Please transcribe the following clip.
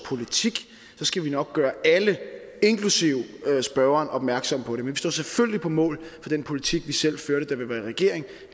politik skal vi nok gøre alle inklusive spørgeren opmærksom på det men vi står selvfølgelig på mål for den politik vi selv førte da vi var i regering